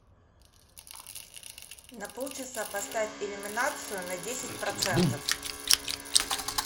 на полчаса поставь иллюминацию на десять процентов